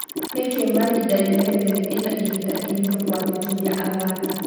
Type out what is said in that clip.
Nĩkĩĩ Marinda United ĩna ihinda rĩritũ kũandĩkithia athaki?